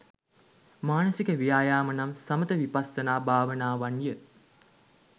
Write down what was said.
මානසික ව්‍යායාම නම් සමථ විපස්සනා භාවනාවන් ය.